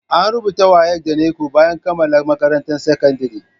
An rubuta WAEC da NECO bayan kammala makarantar sakandire